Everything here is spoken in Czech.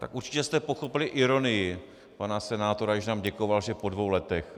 Tak určitě jste pochopili ironii pana senátora, když nám děkoval, že po dvou letech.